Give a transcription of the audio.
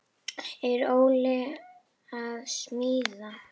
Er Óli Jó að smíða?